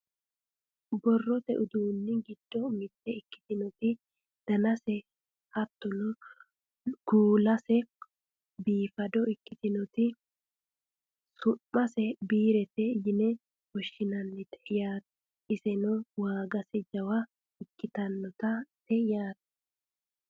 borrote uduunni giddo mitte ikkitinoti danase hattono kuulase biifado ikkitinoti su'mase biirete yine woshshinannite yaate iseno waagase jawa ikkitannote yaate